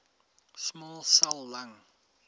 small cell lung